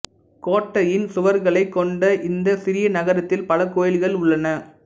கோட்டையின் சுவர்களைக் கொண்ட இந்தச் சிறிய நகரத்தில் பல கோயில்கள் உள்ளன